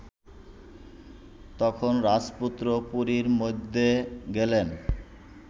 তখন রাজপুত্র পুরীর মধ্যে গেলেন